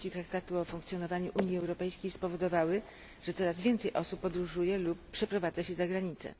3 Traktatu o Funkcjonowaniu Unii Europejskiej spowodowały, że coraz więcej osób podróżuje lub przeprowadza się za granicę.